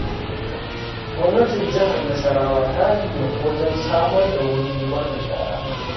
Gwamnatin Jihar Nasarwa ta himmatu wajen samar da wurin zubar da shara.